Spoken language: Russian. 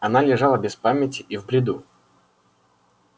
она лежала без памяти и в бреду